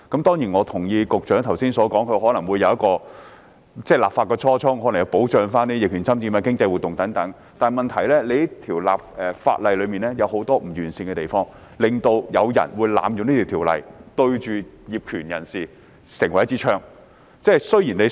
當然，我同意局長剛才所說的立法初衷是要保障逆權管有人、經濟活動等，但問題是這項法例有很多不完善的地方，導致這項條例被濫用，成為槍桿子瞄準業權人。